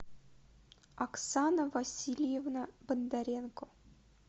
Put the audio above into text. оксана васильевна бондаренко